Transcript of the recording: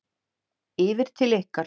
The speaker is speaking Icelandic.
Yfir til ykkar?